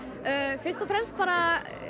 fyrst og fremst bara